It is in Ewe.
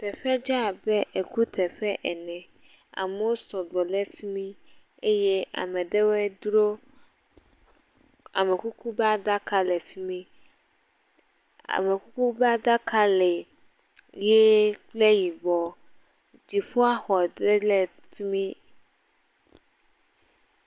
Teƒea dze abe ekuteƒe ene. Amewo zɔ gbɔ ɖe fi mi eye ame aɖewo dro amekukugbaɖake le fi mi. Amekuku ƒe aɖaka le ʋie kple yibɔ. Dziƒoxɔ ɖe le fi mi.